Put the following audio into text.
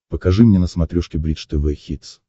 покажи мне на смотрешке бридж тв хитс